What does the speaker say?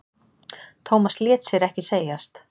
Thomas lét sér ekki segjast.